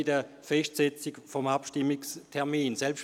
Bei der Festsetzung des Abstimmungstermins muss man vieles erwägen.